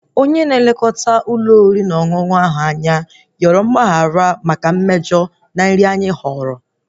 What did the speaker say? Maneja ndị Ụlọ oriri na ọṅụṅụ ahụ yọrọ mgbaghara maka mmejọ nri anyị